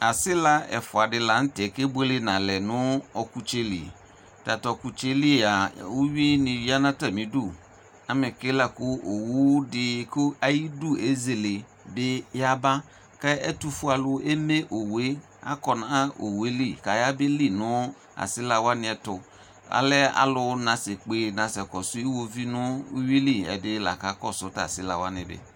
Asila ɛfʋadi lanʋtɛ kebʋele nalɛ nʋ ɔkʋtsele tatʋ ɔkʋtselia ʋwini yanʋ atali idʋ amɛke lakʋ owʋdi kʋ ayidʋ ezele bi yaba ɛtʋfue alʋ eme owʋe akɔnʋ oweli kaya belinʋ asila wani ɛtʋ alɛ alʋ nesekpe nasɛkɔsʋ iwoviu nʋ ʋwili ɛdi lakakɔsʋ tʋ asila wani bi